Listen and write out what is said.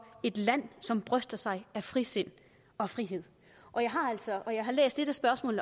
et land som bryster sig af frisind og frihed jeg har læst